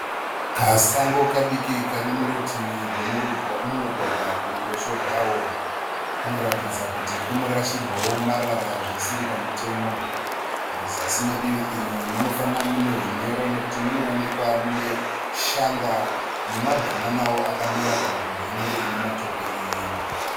Kasango kadiki kari murutivi rwomumugwagwa kuruboshwe rwawo. Kunoratidza kuti kunorashirwawo marara zvisiri pamutemo. Muzasi medivi iri munofanira mune hunyoro nekuti munoonekwa muine shanga nemabhananawo akamera panzvimbo inenge ine matope iyi.